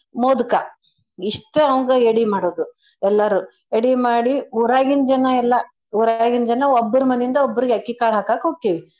ಮೋದ್ಕ ಇಷ್ಟು ಅವ್ನ್ಗ ಎಡಿ ಮಾಡೋದು ಎಲ್ಲಾರೂ ಎಡಿ ಮಾಡಿ ಊರಾಗಿನ್ ಜನಾ ಎಲ್ಲಾ ಊರಾಗಿನ್ ಜನಾ ಒಬ್ಬ್ರ ಮನಿಂದ ಒಬ್ರಗ್ ಅಕ್ಕಿ ಕಾಳ್ ಹಾಕಾಕ್ ಹೊಕ್ಕೇವಿ.